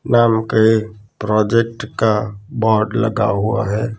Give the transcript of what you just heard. नाम के प्रोजेक्ट का बोर्ड लगा हुआ है।